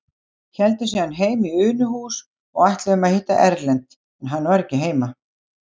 Héldum síðan heim í Unuhús og ætluðum að hitta Erlend, en hann var ekki heima.